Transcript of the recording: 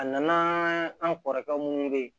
A nana an kɔrɔkɛ munnu be yen